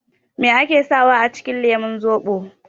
Me ake sawa a cikin lemun zobo?